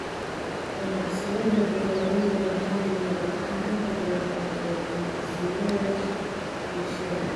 Ganacsiyada beeralayda maxaliga ah waxaa inta badan taageera hindisayaasha bulshada.